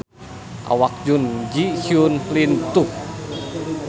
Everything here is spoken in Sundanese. Awak Jun Ji Hyun lintuh